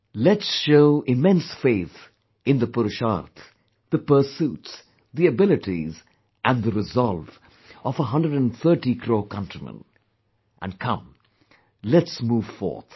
Let's show immense faith in the pursuits actions, the abilities and the resolve of 130 crore countrymen, and come let's move forth